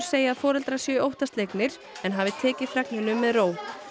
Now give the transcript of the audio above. segja að foreldrar séu óttaslegnir en hafi tekið fregnum með ró